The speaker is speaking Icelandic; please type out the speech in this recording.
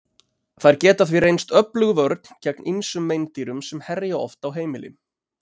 Þær geta því reynst öflug vörn gegn ýmsum meindýrum sem herja oft á heimili.